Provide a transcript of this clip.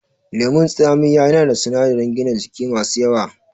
Lemon tsamiya yana da sunadaran gina jiki masu yawa